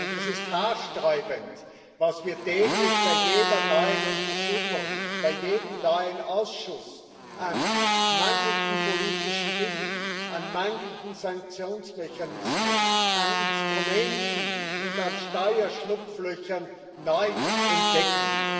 Es ist haarsträubend, was wir täglich bei jeder neuen Untersuchung, bei jedem neuen Ausschuss an mangelndem politischem Willen, an mangelnden Sanktionsmechanismen, an Instrumenten und an Steuerschlupflöchern neu entdecken.